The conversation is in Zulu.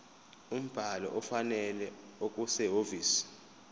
umbhalo ofanele okusehhovisi